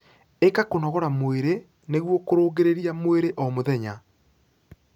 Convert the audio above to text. Ika kũnogora mwĩrĩ nĩguo kurungirirĩa mwĩrĩ o mũthenya